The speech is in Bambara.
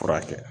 Furakɛ